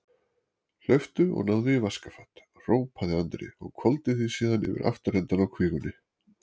Hlauptu og náðu í vaskafat, hrópaði Andri og hvolfdi því síðan yfir afturendann á kvígunni.